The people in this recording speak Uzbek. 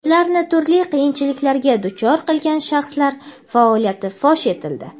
ularni turli qiyinchiliklarga duchor qilgan shaxslar faoliyati fosh etildi.